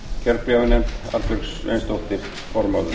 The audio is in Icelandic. kjörbréfanefnd arnbjörg sveinsdóttir formaður